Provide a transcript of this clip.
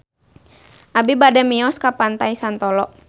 Abi bade mios ka Pantai Santolo